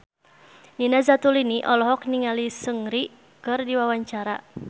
Nina Zatulini olohok ningali Seungri keur diwawancara